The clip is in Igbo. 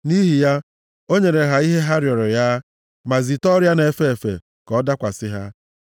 Nʼihi ya, o nyere ha ihe ha rịọrọ ya, ma zite ọrịa na-efe efe ka ọ dakwasị ha.